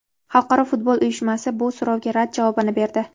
Xalqaro futbol uyushmasi bu so‘rovga rad javobini berdi.